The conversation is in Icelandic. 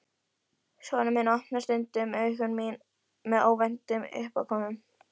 Sonur minn opnar stundum augu mín með óvæntum uppákomum.